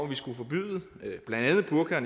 vi skulle forbyde blandt andet burka og